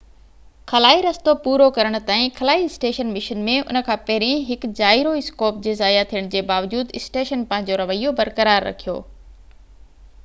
خلائي رستو پورو ڪرڻ تائين خلائي اسٽيشن مشن ۾ ان کان پهرين هڪ جائيرو اسڪوپ جي ضايع ٿيڻ جي باوجود اسٽيشن پنهنجو رويو برقرار رکيو